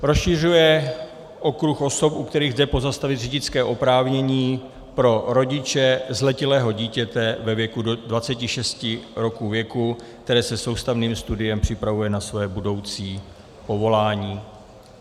Rozšiřuje okruh osob, u kterých jde pozastavit řidičské oprávnění pro rodiče zletilého dítěte ve věku do 26 roků věku, které se soustavným studiem připravuje na své budoucí povolání.